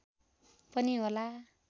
पनि होला